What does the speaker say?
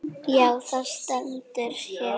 Já, það stendur hér.